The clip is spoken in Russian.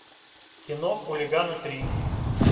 кино хулиганы три